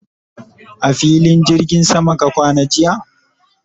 a filin jirgin sama ka kwana jiya?